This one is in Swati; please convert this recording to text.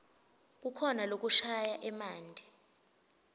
kukhona lokushaya emanti